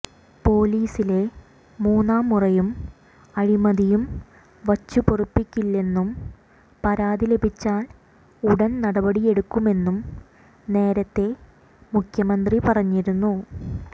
പൊലീസിലെ മൂന്നാം മുറയും അഴിമതിയും വച്ചുപൊറിപ്പിക്കില്ലെന്നും പരാതി ലഭിച്ചാൽ ഉടൻ നടപടിയെടുക്കുമെന്നും നേരത്തെ മുഖ്യമന്ത്രി പറഞ്ഞിരുന്നു